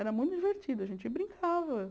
Era muito divertido, a gente brincava.